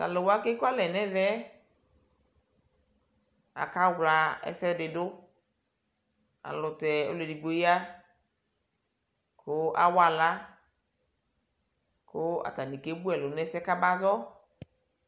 talʋwa kekʋalɛ nɛvɛ akaɣla ɛsɛɖiɖʋ aylʋtɛ ɔlʋɛɖigbo ya kʋ awaala kʋ atani kebʋɛlʋ nɛsɛ kabaƶɔ